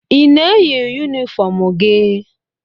I na-eyi yunifọmụ gị?